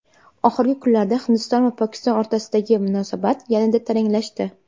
Oxirgi kunlarda Hindiston va Pokiston o‘rtasidagi munosabat yana taranglashdi.